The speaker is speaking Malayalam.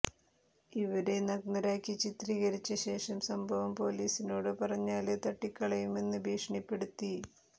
ഇവരെ നഗ്നരാക്കി ചിത്രീകരിച്ച ശേഷം സംഭവം പൊലീസിനോട് പറഞ്ഞാല് തട്ടിക്കളയുമെന്ന് ഭീഷണിപ്പെടുത്തി